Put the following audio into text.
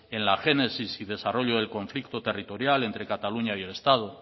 en la génesis y desarrollo del conflicto territorial entre cataluña y el estado